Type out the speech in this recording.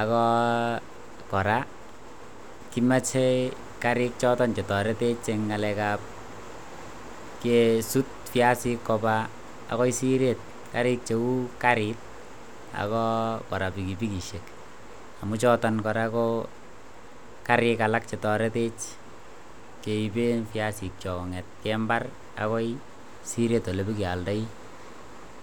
ako kora kimoche kariik choton chetoretech kesuut viasik koba akoi sireet kariik cheu kariit ako kora bigibikisiek, amun choton kora ko kariik alak chetoretech keiben viasikchok kong'eten mbar agoi sireet olebokeoldoi.